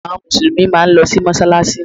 Àwọn Mùsùlùmí máa ń lọ sí mọ́sálásí